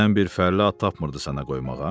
Dədən bir fərli ad tapmırdı sənə qoymağa?